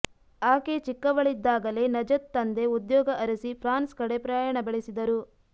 ಆಕೆ ಚಿಕ್ಕವಳಿದ್ದಾಗಲೇ ನಜತ್ ತಂದೆ ಉದ್ಯೋಗ ಅರಸಿ ಫ್ರಾನ್ಸ್ ಕಡೆ ಪ್ರಯಾಣ ಬೆಳೆಸಿದರು